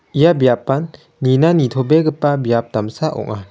ia biapan nina nitobegipa biap damsa ong·a.